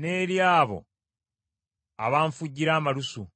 n’eri abo abanfujjira amalusu.